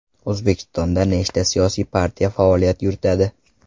O‘zbekistonda nechta siyosiy partiya faoliyat yuritadi?